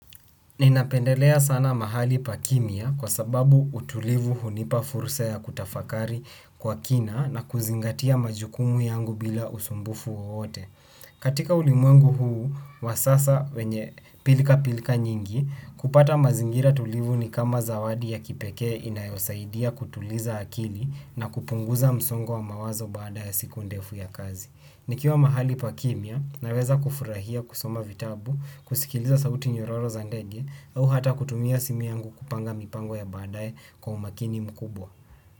Ninapendelea sana mahali pa kimya kwa sababu utulivu hunipa fursa ya kutafakari kwa kina na kuzingatia majukumu yangu bila usumbufu wowote. Katika ulimwengu huu wa sasa wenye pilika pilika nyingi, kupata mazingira tulivu ni kama zawadi ya kipekee inayosaidia kutuliza akili na kupunguza msongo wa mawazo baada ya siku ndefu ya kazi. Nikiwa mahali pa kimya naweza kufurahia, kusoma vitabu, kusikiliza sauti nyororo za ndege au hata kutumia simu yangu kupanga mipango ya baadaye kwa umakini mkubwa.